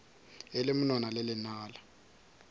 e le monwana le lenala